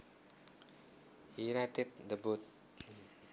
He righted the boat